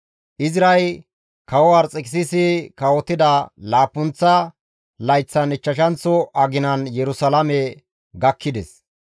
Izray kawo Arxekisisi kawotida laappunththa layththan ichchashanththo aginan Yerusalaame gakkides.